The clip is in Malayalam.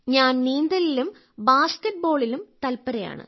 ഞാൻ നീന്തലിലും ബാസ്കറ്റ്ബോളിലും തല്പരയാണ്